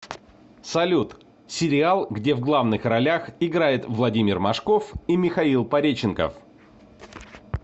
салют сериал где в главных ролях играет владимир машков и михаил пореченков